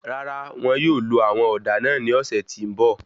Rárá, won yóò lo àwọn òdà ní ọsẹ ti n bọ